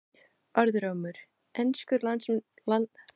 Orðrómur: Enskur landsliðsmaður að koma úr skápnum?